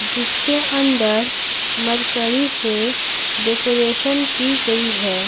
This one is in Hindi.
जिसके अंदर मरकरी से डेकोरेशन की गई है।